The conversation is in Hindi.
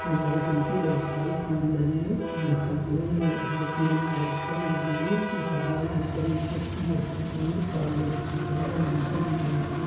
नारियल के बहुत सारे पेड़ लगे हुए दिखाई दे रहे हैं और अन्य पेड़ भी बहुत सारे लगे हुए दिखाई दे रहे हैं वहाँ पर एक व्यक्ति बेग टाँगे हुए खड़ा हुआ दिखाई दे रहा हैं और मकान भी बना हुआ--